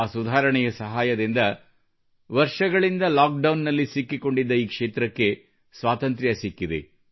ಆ ಸುಧಾರಣೆಯ ಸಹಾಯದಿಂದ ವರ್ಷಗಳಿಂದ ಲಾಕ್ಡೌನ್ನಲ್ಲಿ ಸಿಕ್ಕಿಕೊಂಡಿದ್ದ ಈ ಕ್ಷೇತ್ರಕ್ಕೆ ಸ್ವಾತಂತ್ರ್ಯ ಸಿಕ್ಕಿದೆ